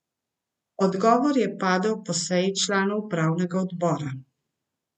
Odgovor je padel po seji članov upravnega odbora.